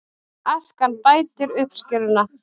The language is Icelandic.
Askan bætir uppskeruna